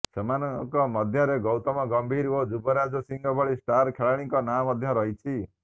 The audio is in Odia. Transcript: ସେମାନଙ୍କ ମଧ୍ୟରେ ଗୌତମ ଗମ୍ଭୀର ଓ ଯୁବରାଜ ସିଂହଙ୍କ ଭଳି ଷ୍ଟାର ଖେଳାଳିଙ୍କ ନାଁ ମଧ୍ୟ ରହିଛି